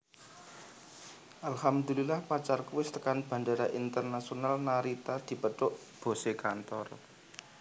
Alhamdulillah pacarku wis tekan Bandara Internaisonal Narita dipethuk bose kantor